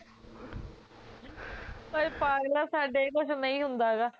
ਪਰ ਪਾਗਲਾਂ ਸਾਡੇ ਏਹ ਕੁਸ਼ ਨਹੀਂ ਹੁੰਦਾ ਗਾ